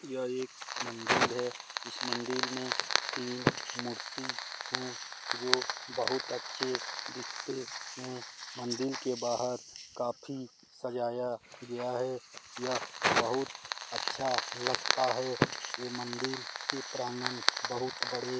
यह एक मंदिल है। इस मंदिल में तीन मूर्ति है जो बहुत अच्छे दिखते है। मंदिल के बाहर काफी सजाया गया है। यह बहुत अच्छा लगता है। ये मंदिर के प्रांगण बहुत बड़ी --